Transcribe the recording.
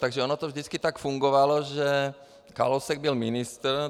Takže ono to vždycky tak fungovalo, že Kalousek byl ministr.